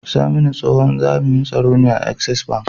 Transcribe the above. Saminu tsohin jami'in tsaro ne a access bank